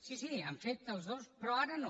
sí sí han fet els dos però ara no